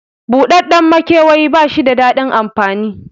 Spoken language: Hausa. Buɗaɗɗen maikewayi bashi da daɗin amfani